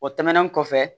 O tɛmɛnen kɔfɛ